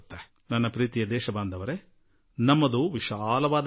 ನನ್ನೊಲವಿನ ದೇಶವಾಸಿಗಳೇ ದೇಶ ಬಲು ದೊಡ್ಡದು